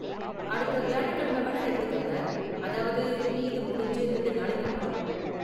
அடுத்த வியாழக்கிழம வேணா எடுத்துக்கங்க, அதாவது ஈத் முடிஞ்சு ரெண்டு நாளைக்கு அப்பறம்.